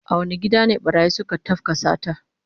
A wane gida ne barayi suka tafka sata?